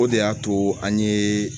O de y'a to an ye